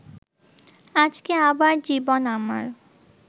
আজকে আবার জীবন আমার